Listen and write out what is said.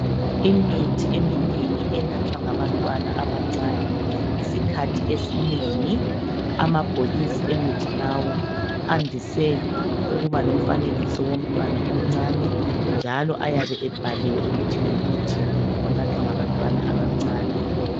Imithi eminengi enathwa ngabantwana abancane isikhathi esinengi amabhokisi emithi lawo andise ukuba lomfanekiso womntwana omncane njalo ayabe ebhaliwe ukuthi ngumuthi onathwa ngabantwana abancane.